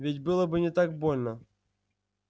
ведь было бы не так больно